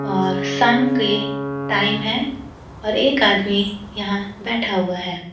और शाम पे टाइम है और एक आदमी यहां बैठा हुआ है।